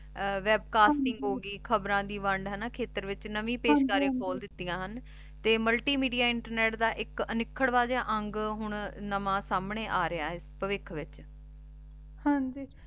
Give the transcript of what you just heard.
ਆਹ webcasting ਹੋਗੀ ਖਬਰਾਂ ਦੀ ਵੰਡ ਖੋਲ ਦਿਤਿਯਾਂ ਹਨ ਤੇ multimedia internet ਦਾ ਏਇਕ ਅਖਾਰ੍ਵਾਂ ਜਿਯਾ ਅੰਗ ਹਨ ਨਵਾਂ ਸੰਨੀ ਆਗਯਾ ਆਯ ਪਾਵਿਖ ਵਿਚ ਹਾਂਜੀ